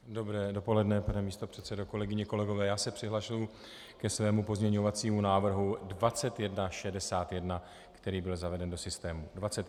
Dobré dopoledne pane místopředsedo, kolegyně, kolegové, já se přihlašuji ke svému pozměňovacímu návrhu 2161, který byl zaveden do systému.